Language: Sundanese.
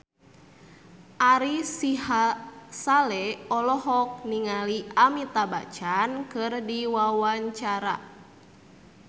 Ari Sihasale olohok ningali Amitabh Bachchan keur diwawancara